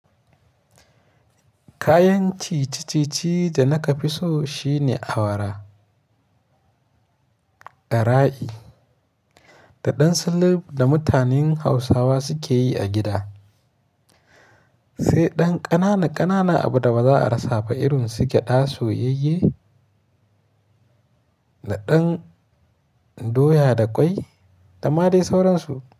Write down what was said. Kayan ci ciccici da na ka fi so shine awara, ɗara'i da ɗan sulub da mutanen Hausawa suke yi a gida. Sai ɗan ƙanana ƙanana abu da ba za a rasa ba irin su gyaɗa, soyayye da ɗan doya da ƙwai da ma dai sauransu.